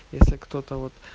если кто-то вот